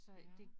Ja